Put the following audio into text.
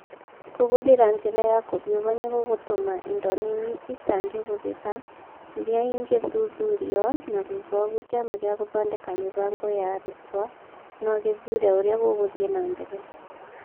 Kũhũthĩra njĩra ya kũhiũha nĩ gũgũtũma indo nini itangĩhũthĩka, iria ingĩthuthurio, na thutha wa ũguo Kĩama gĩa gũthondeka mĩbango ya arutwo no gĩthuure ũrĩa gũgũthiĩ na mbere.